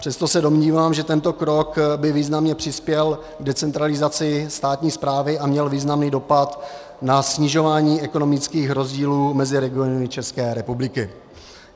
Přesto se domnívám, že tento krok by významně přispěl k decentralizaci státní správy a měl významný dopad na snižování ekonomických rozdílů mezi regiony České republiky.